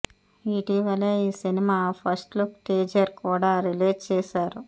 ఇటీవలే ఈ cinema first look teaser కూడా రిలీజ్ చేశారు